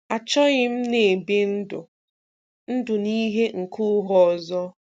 Achọghị m na-ebi ndụ̀ ndụ̀ na ìhè nke ụ̀ghà ọzọ.